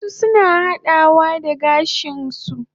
Wasu suna hadawa da gashin su